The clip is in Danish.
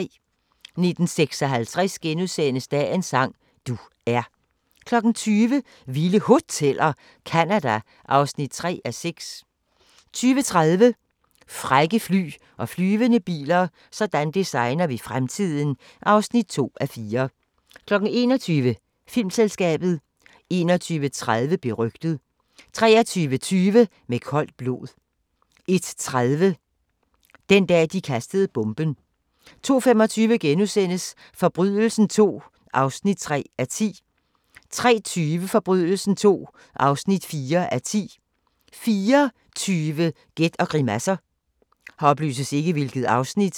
19:56: Dagens sang: Du er * 20:00: Vilde Hoteller - Canada (3:6) 20:30: Frække fly og flyvende biler - sådan designer vi fremtiden (2:4) 21:00: Filmselskabet 21:30: Berygtet 23:20: Med koldt blod 01:30: Den dag, de kastede bomben 02:25: Forbrydelsen II (3:10)* 03:20: Forbrydelsen II (4:10) 04:20: Gæt og grimasser